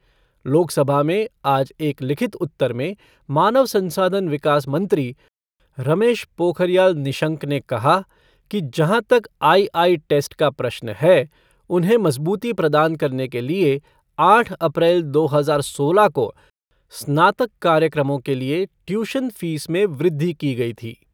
लोकसभा में आज एक लिखित उत्तर में मानव संसाधन विकास मंत्री रमेश पोखरियाल निशंक ने कहा कि जहाँ तक आई आई टेस्ट का प्रश्न है उन्हें मज़बूती प्रदान करने के लिए आठ अप्रैल दो हज़ार सोलह को स्नातक कार्याक्रमों के लिए ट्यूशन फ़ीस में वृद्धि की गई थी।